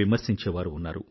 విమర్శించేవారూ ఉన్నారు